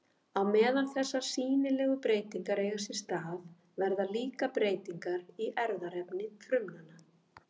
Á meðan þessar sýnilegu breytingar eiga sér stað verða líka breytingar í erfðaefni frumanna.